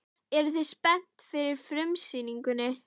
Eruð þið spenntir fyrir frumsýningunni?